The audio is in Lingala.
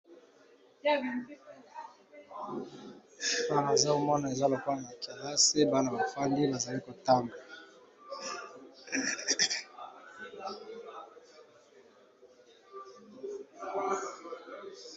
Awa nazomona eza neti na kilasi Bana bafandi bazo tanga.